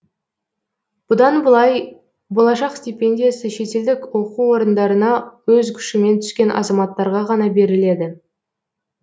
бұдан былай болашақ стипендиясы шетелдік оқу орындарына өз күшімен түскен азаматтарға ғана беріледі